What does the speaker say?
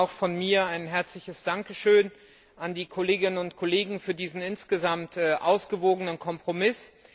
Zunächst einmal auch von mir ein herzliches Dankeschön an die Kolleginnen und Kollegen für diesen insgesamt ausgewogenen Kompromiss.